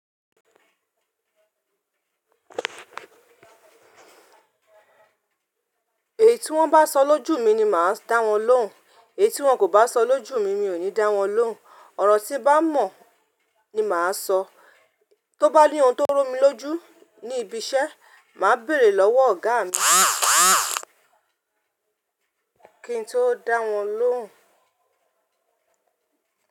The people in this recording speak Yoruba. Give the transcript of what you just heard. Èyí tí wọ́n bá sọ lójú mi ni màá dá wọn lóhùn. Èyí tí wọ́n kò bá sọ lójú mi, mi ò ní dá wọn lóhùn. Ọ̀rọ̀ tí bá mọ̀ ni màá sọ. Tóbá ní ohun tó ró mi lójú ní ibi iṣẹ́, màá bèrè lọ́wọ́ ọ̀gá mi. Kì ń tó dá wọn lóhùn.